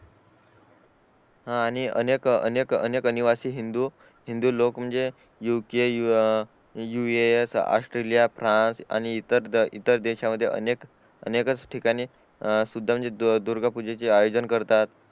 हा आणि अनेक अनेक आणिअनिवासी हिंदू हिंदू लोक म्हणजे उके यूएस ऑस्ट्रेलिया फ्रान्स आणि इतर देशामध्ये अनेकच ठिकाणी सुद्धा दुर्गा पूजेचे आयोजन करतात